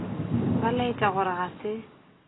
ba laetša gore ga se